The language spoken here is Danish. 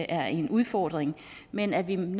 er en udfordring men at vi